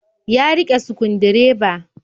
Ya riƙe sukundireba.